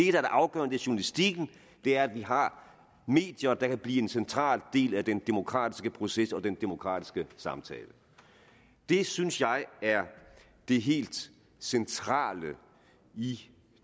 er det afgørende er journalistikken det er at vi har medier der kan blive en central del af den demokratiske proces og den demokratiske samtale det synes jeg er det helt centrale i